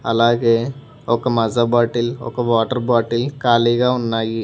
అలాగే ఒక మజా బాటిల్ ఒక వాటర్ బాటిల్ ఖాళీగా ఉన్నాయి.